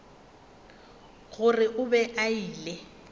gore o be a ile